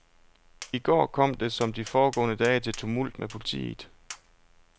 I går kom det som de foregående dage til tumult med politiet.